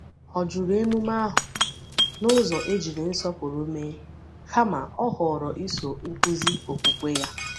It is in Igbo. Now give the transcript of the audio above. Ọ jụrụ emume ahụ n'ụzọ e ji nsọpụrụ mee, kama o họrọ iso nkuzi okwukwe ya.